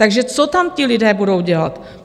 Takže co tam ti lidé budou dělat?